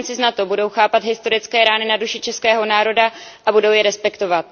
spojenci z NATO budou chápat historické rány na duši českého národa a budou je respektovat.